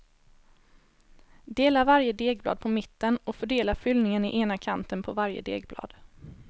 Dela varje degblad på mitten och fördela fyllningen i ena kanten på varje degblad.